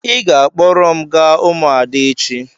Ị ga-akpọrọ m gaa ụmụada echi.